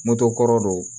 Moto kɔrɔ don